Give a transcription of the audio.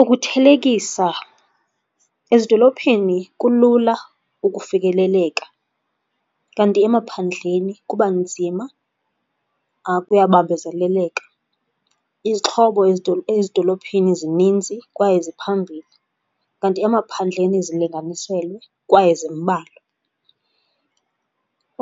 Ukuthelekisa, ezidolophini kulula ukufikeleleka kanti emaphandleni kuba nzima kuya bambezeleleka. Izixhobo ezidolophini zinintsi kwaye ziphambili kanti emaphandleni zilinganiselwe kwaye zimbalwa.